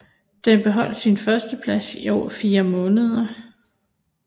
Den beholdt sin førsteplads i over fire måneder